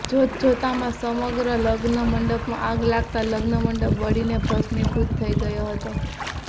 જોત જોતમાં સમગ્ર લગ્ન મંડપમાં આગ લાગતા લગ્નમંડપ બળીને ભસ્મીભૂત થઈ ગયો હતો